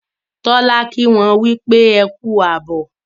Tola ki wón wípé ẹkú abọ.